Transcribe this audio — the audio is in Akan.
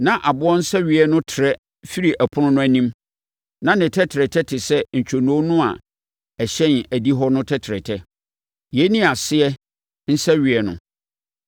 Na aboɔ nsɛweeɛ no trɛ firi apono no anim, na na ne tɛtrɛtɛ te sɛ ntwonoo no a ɛhyɛn adihɔ no tɛtrɛtɛ; yei ne aseɛ nsɛweeɛ no.